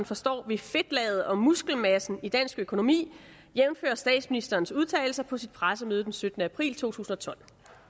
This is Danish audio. forstår ved fedtlaget og muskelmassen i dansk økonomi jævnfør statsministerens udtalelser på sit pressemøde den syttende april 2012